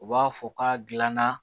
U b'a fɔ k'a gilanna